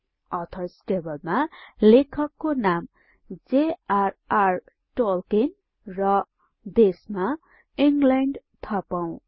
others टेबलमा लेखकको नामJRR Tolkienर देशमा इंग्ल्याण्ड थपौं 4